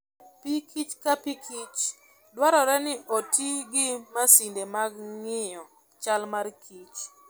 Pikich ka pikich, dwarore ni oti gi masinde mag ng'iyo chal mar kich.